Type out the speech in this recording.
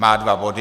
Má dva body.